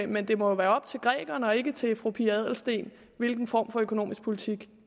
men det må jo være op til grækerne og ikke til fru pia adelsteen hvilken form for økonomisk politik